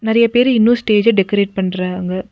நெறையா பேர் இன்னு ஸ்டேஜ டெக்கரேட் பண்றாங்க.